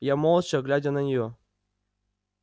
я молча глядя на неё